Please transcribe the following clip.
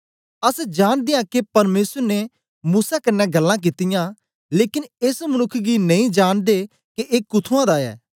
अस जांनदे आं के परमेसर ने मूसा कन्ने ग्ल्लां कित्तियां लेकन एस मनुक्ख गी नेई जांनदे के ए कुथुंआं दा ऐ